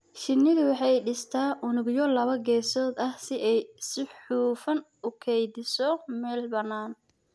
Shinnidu waxay dhistaa unugyo laba geesood ah si ay si hufan u kaydiso meel bannaan.